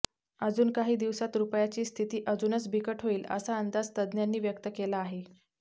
अजून काही दिवसात रुपयाची स्थिती अजूनच बिकट होईल असा अंदाज तज्ञांनी व्यक्त केला आहे